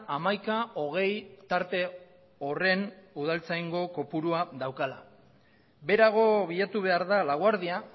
hamaika hogei tarte horren udaltzaingo kopurua daukala beherago bilatu behar da laguardia